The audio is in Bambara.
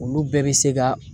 Olu bɛɛ bɛ se ka